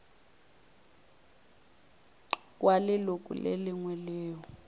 wa leloko le lengwe leo